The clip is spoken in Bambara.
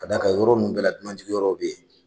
Ka d'a kan yɔrɔ min bɛɛ la dunanjiginyɔrɔw bɛ yen